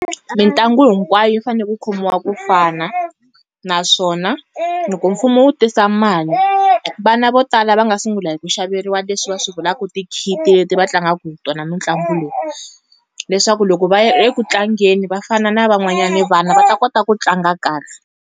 Mintlangu hinkwayo yi fanele ku khomiwa ku fana. Naswona loko mfumo wu tisa mali, vana vo tala va nga sungula hi ku xaveriwa leswi va swi vulaku ti-kit leti va tlangaku hi tona mitlangu leyi. Leswaku loko va ya eku tlangeni va fana na van'wanyana vana va ta kota ku tlanga kahle.